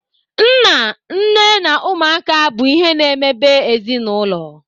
Nna, nne na ụmụaka bụ ihe na emebe ezịnụlo